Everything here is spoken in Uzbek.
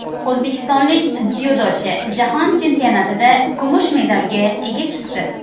O‘zbekistonlik dzyudochi Jahon chempionatida kumush medalga ega chiqdi.